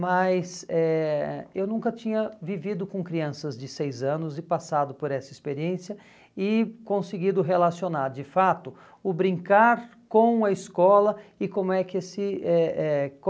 mas eh eu nunca tinha vivido com crianças de seis anos e passado por essa experiência e conseguido relacionar de fato o brincar com a escola e como é que se eh eh